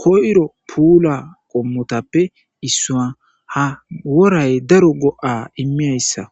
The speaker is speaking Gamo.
koyiro puula qommotappe issuwa. ha woray daro go7aa immiyayssa.